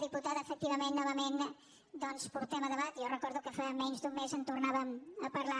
diputada efectivament novament doncs ho portem a debat i jo recordo que fa menys d’un mes en tornàvem a parlar